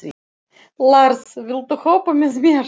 Lars, viltu hoppa með mér?